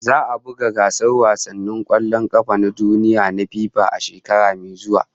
Za'a buga gasar wasannin kwallon kafa na duniya na FIFA a shekara mai zuwa